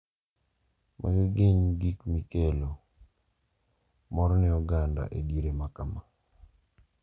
Magi gin gik makelo mor ne oganda e diere makama.